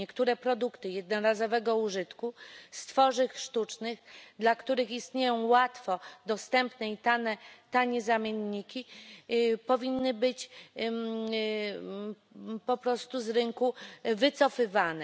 Niektóre produkty jednorazowego użytku z tworzyw sztucznych, dla których istnieją łatwo dostępne i tanie zamienniki powinny być po prostu z rynku wycofywane.